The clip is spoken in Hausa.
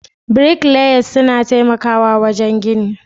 Bricklayers suna taimakawa wajen gini.